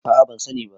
a a ban sani ba